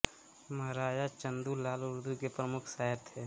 महाराजा चंदू लाल उर्दू के प्रमुख शायर थे